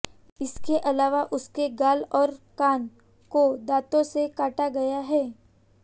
इसके अलावा उसके गाल और कान को दांतो से काटा गया है